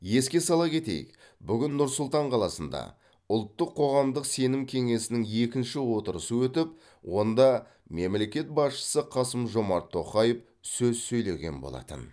еске сала кетейік бүгін нұр сұлтан қаласында ұлттық қоғамдық сенім кеңесінің екінші отырысы өтіп онда мемлекет басшысы қасым жомарт тоқаев сөз сөйлеген болатын